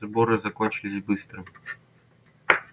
сборы закончились быстро